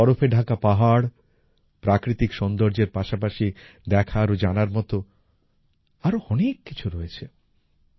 কাশ্মীরের বরফে ঢাকা পাহাড় প্রাকৃতিক সৌন্দর্যের পাশাপাশি দেখার ও জানার মতো আরও অনেক কিছু রয়েছে